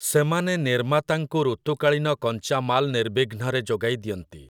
ସେମାନେ ନିର୍ମାତାଙ୍କୁ ଋତୁକାଳୀନ କଞ୍ଚାମାଲ ନିର୍ବିଘ୍ନରେ ଯୋଗାଇ ଦଅନ୍ତି ।